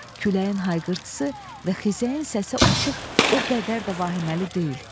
Küləyin hayqırtısı və xizəyin səsi artıq o qədər də vahiməli deyil.